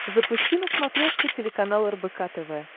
запусти на смотрешке телеканал рбк тв